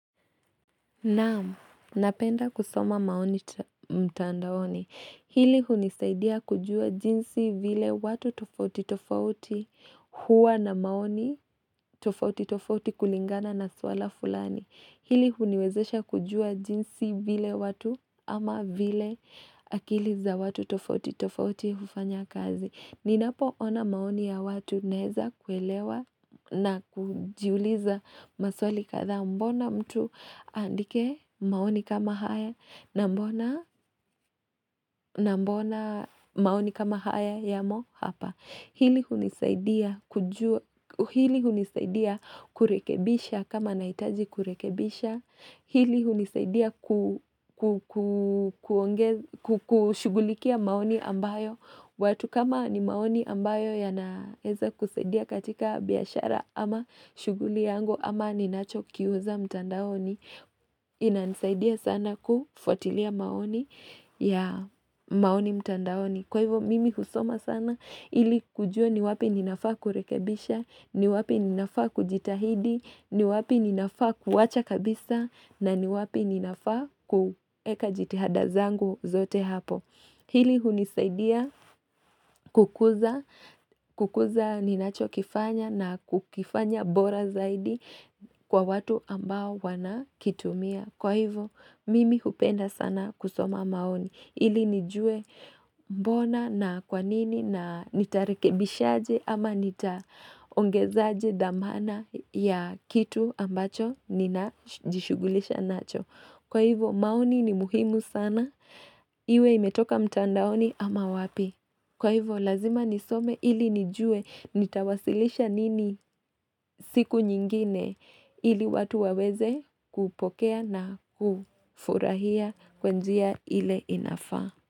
Naapenda kusoma maoni mtandaoni. Hili hunisaidia kujua jinsi vile watu tofauti tofauti huwa na maoni tofauti tofauti kulingana na swala fulani. Hili huniwezesha kujua jinsi vile watu ama vile akili za watu tofauti tofauti hufanya kazi. Ninapo ona maoni ya watu naeza kuelewa na kujiuliza maswali katha mbona mtu andike maoni kama haya na mbona. Maoni kama haya ya mo hapa. Hili hunisaidia kurekebisha kama naitaji kurekebisha. Hili hunisaidia. Kushugulikia maoni ambayo. Watu kama ni maoni ambayo ya naeza kusaidia katika biyashara ama shuguli yangu ama ni nacho kiuza mtandaoni. Inanisaidia sana kufuatilia maoni. Ya maoni mtandaoni Kwa hivo mimi husoma sana ili kujua ni wapi ninafaa kurekebisha ni wapi ninafaa kujitahidi ni wapi ninafaa kuwacha kabisa na ni wapi ninafaa kueka jitihadazangu zote hapo. Hili hunisaidia kukuza kukuza ninacho kifanya na kukifanya bora zaidi Kwa watu ambao wana kitumia Kwa hivo mimi hupenda sana kusoma maoni Ili nijue. Bona na kwanini na nitarekebisha aje ama nitaongeza aje damana ya kitu ambacho nina jishugulisha nacho Kwa hivo maoni ni muhimu sana. Iwe imetoka mtandaoni ama wapi Kwa hivo lazima nisome ili nijue Nitawasilisha nini. Siku nyingine Ili watu waweze kupokea na kufurahia kwanjia ile inafaa.